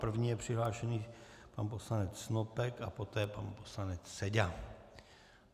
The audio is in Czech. První je přihlášený pan poslanec Snopek a poté pan poslanec Seďa.